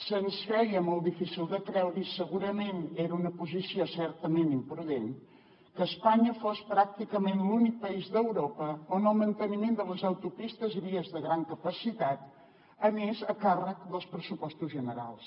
se’ns feia molt difícil de creure i segurament era una posició certament imprudent que espanya fos pràcticament l’únic país d’europa on el manteniment de les autopistes i vies de gran capacitat anés a càrrec dels pressupostos generals